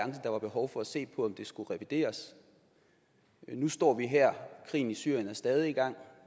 der var behov for at se på om den skulle revideres nu står vi her og krigen i syrien er stadig i gang